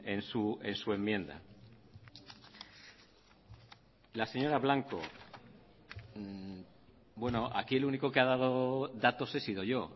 en su enmienda la señora blanco bueno aquí el único que ha dado datos he sido yo